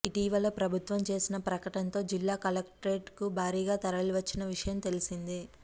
ఇటీవల ప్రభుత్వం చేసిన ప్రకటనతో జిల్లా కలెక్టరేట్కు భారీగా తరలివచ్చిన విషయం తెలిసిందే